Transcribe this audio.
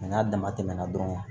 n'a dama tɛmɛna dɔrɔn